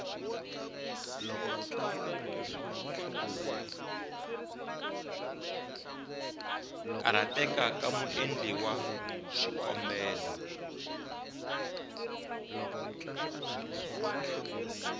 karhateka ka muendli wa xikombelo